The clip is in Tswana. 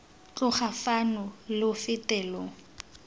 tloga fano lo fete lo